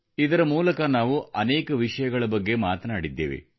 ಇದರ ಮೂಲಕ ನಾವು ಅನೇಕ ವಿಷಯಗಳ ಬಗ್ಗೆ ಮಾತನಾಡಿದ್ದೇವೆ